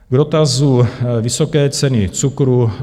K dotazu vysoké ceny cukru.